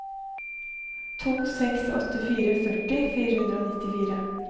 to seks åtte fire førti fire hundre og nittifire